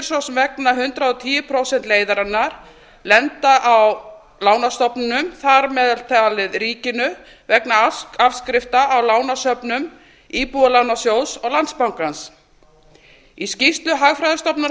svo sem vegna hundrað og tíu prósenta leiðarinnar lenda á lánastofnunum þar með talið ríkinu vegna afskrifta á lánasöfnum íbúðalánasjóðs og landsbankans í skýrslu hagfræðistofnunar